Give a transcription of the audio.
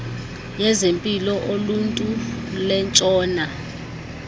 yezempilo uluntu lwentshona